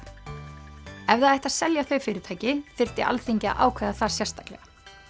ef það ætti að selja þau fyrirtæki þyrfti Alþingi að ákveða það sérstaklega